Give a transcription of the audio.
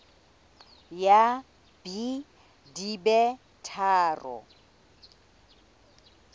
ya b di be tharo